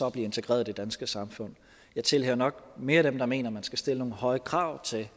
integreret i det danske samfund jeg tilhører nok mere dem der mener at man skal stille nogle høje krav til